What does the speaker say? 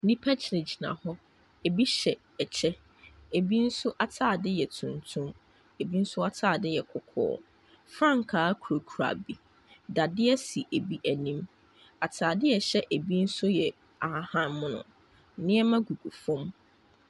Nnipa gyinagyina hɔ. Ebi hyɛ ɛkyɛ, ebi nso atade yɛ tuntum. Ebi nso atade yɛ kɔkɔɔ. Frankaa kurakura bi. Dadeɛ si ebi anim. Atade a ɛhyɛ ebi nso yɛ ahahan mono. Nneɛma gugu fam.